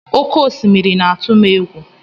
Oké osimiri na-atụ m egwu.